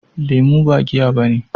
Lemu ba giya bane.